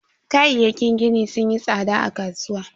Kayayyakin gini sunyi tsada a kasuwa.